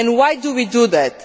And why do we do that?